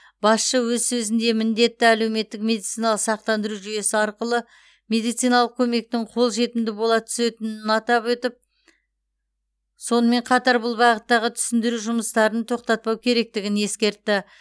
басшы өз сөзінде міндетті әлеуметтік медициналық сақтандыру жүйесі арқылы медициналық көмектің қол жетімді бола түсетінін атап сонымен қатар бұл бағыттағы түсіндіру жұмыстарын тоқтатпау керектігін ескертті